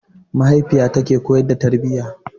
Mahaifiya tana koyar da tarbiyya.